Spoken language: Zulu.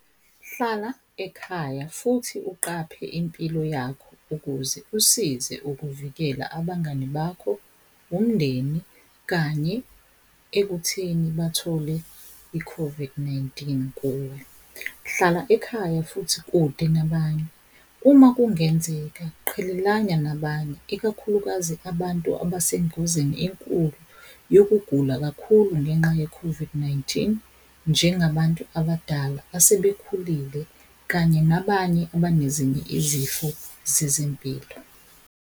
Hlala ekhaya futhi uqaphe impilo yakho ukuze usize ukuvikela abangani bakho umndeni kanye ekutheni bathole i-COVID-19 kuwe. Hlala ekhaya futhi kude nabanye. Uma kungenzeka qhelelana nabanye ikakhulukazi abantu, abasengozini enkulu yokugula kakhulu ngenxa ye-COVID-19 njengabantu abadala asebekhulile, kanye nabanye abanezinye izifo zezempilo.